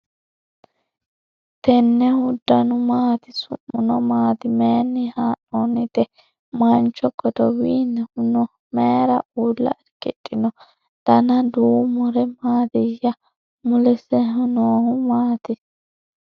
tennehu danu maati? su'muno maati? maayinni haa'noonnite ? mancho godowinni no ? mayra uulla irkidhino? dana duumuri maatiyya ? mulisehuno maati?